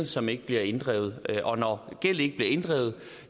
som ikke bliver inddrevet når gæld ikke bliver inddrevet